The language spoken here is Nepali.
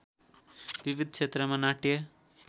विविध क्षेत्रका नाट्य